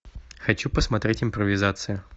хочу посмотреть импровизация